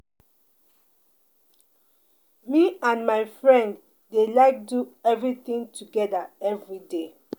Me and my friend dey like do everything together everyday